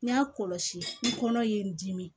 N y'a kɔlɔsi n kɔnɔ ye n dimi